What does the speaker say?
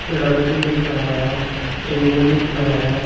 लड़की दिख रहा हैं टेबल दिख रहा हैं।